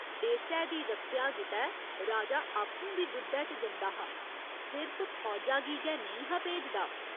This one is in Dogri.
देसै दी रक्खेआ गितै राजा आपूं बी जुद्धै च जंदा हा सिर्फ फौजा गी गै नेईं हा भेजदा।